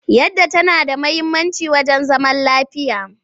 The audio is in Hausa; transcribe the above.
Yadda tana da muhimmanci wajen zaman lafiya.